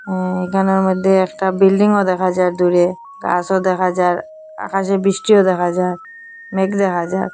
ইঁ এখানের মধ্যে একটা বিল্ডিং ও দেখা যার দূরে গাছও দেখা যার আকাশে বৃষ্টিও দেখা যার মেঘ দেখা যার।